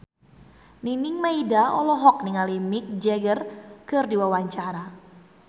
Nining Meida olohok ningali Mick Jagger keur diwawancara